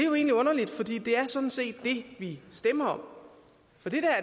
det er det er sådan set det vi stemmer om